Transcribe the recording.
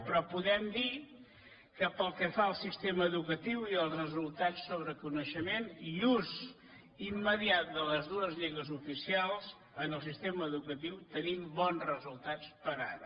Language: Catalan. però podem dir que pel que fa al sistema educatiu i als resultats sobre coneixement i ús immediat de les dues llengües oficials en el sistema educatiu tenim bons resultats per ara